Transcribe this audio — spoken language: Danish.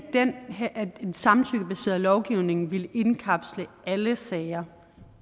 en samtykkebaseret lovgivning ville indkapsle alle sager